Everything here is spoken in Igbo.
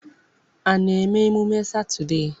A na-eme emume Satọdee.